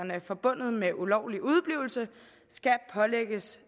forbundet med ulovlig udeblivelse skal pålægges